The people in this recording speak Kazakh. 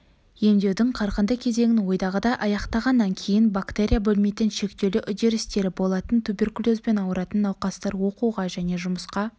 емдеудің қарқынды кезеңін ойдағыдай аяқтағаннан кейін бактерия бөлмейтін шектеулі үдерістері болатын туберкулезбен ауыратын науқастар оқуға және жұмысқа